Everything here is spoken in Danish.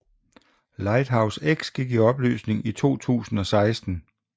Lighthouse X gik i opløsning i 2016